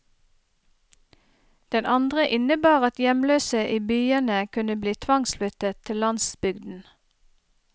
Den andre innebar at hjemløse i byene kunne bli tvangsflyttet til landsbygden.